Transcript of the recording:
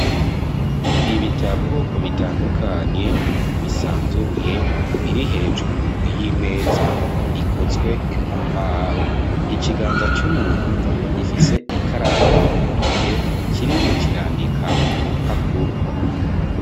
Ibitabo bitandukanye, bisanzuruye biri hejuru y'imeza ikozwe mu mbaho. Ikiganza c'umuntu gifise ikaramu mu ntoke kirimwo kirandika ku rupapuro.